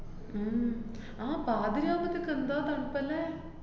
ഉം ആഹ് പാതിരാവുമ്പത്തേക്ക് എന്താ തണ്പ്പല്ലേ?